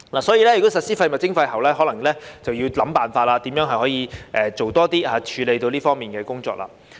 所以，如果實施廢物徵費後，可能便要想辦法如何可以多做一些，以處理這方面的工作。